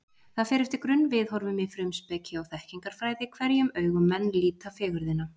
Það fer eftir grunnviðhorfum í frumspeki og þekkingarfræði, hverjum augum menn líta fegurðina.